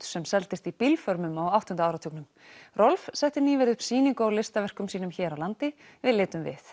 sem seldist í á áttunda áratugnum Rolf setti nýverið upp sýningu á listaverkum sínum hér á landi við litum við